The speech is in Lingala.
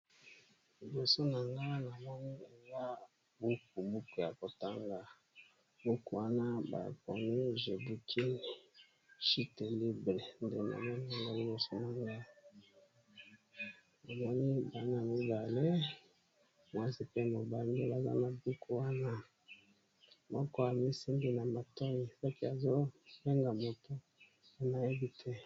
Liboso na nga na moni eza buku ya kotanga, buku wana bakomi “je boukine chite libre” namoni bana mibale. mwasi pe mobali baza na buku wana moko amisimbi na matoyi azosolola na telefone.